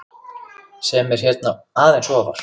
sem eru hérna aðeins ofar.